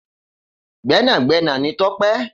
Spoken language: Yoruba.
Gbẹnagbẹna ni Tope.